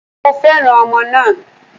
Mo fẹ́ràn ọmọ náà